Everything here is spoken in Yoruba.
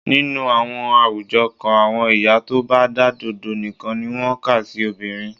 Nínú àwọn àwùjọ kan, àwọn ìyá tó bá dádọ̀dọ́ nìkan ni wọ́n kà sí obìnrin.